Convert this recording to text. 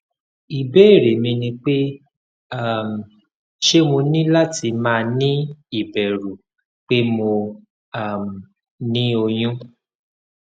ibeere mi ni pe um se mo ni lati ma ni iberu pe mo um ni oyun